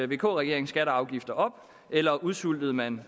vk regeringen skatter og afgifter op eller udsultede man